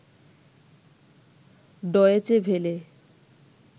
Deutsche Welle